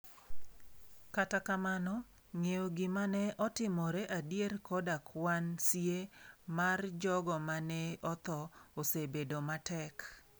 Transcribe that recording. Kata kamano, ng'eyo gima ne otimore gadier koda kwan sie mar jogo ma ne otho, osebedo matek.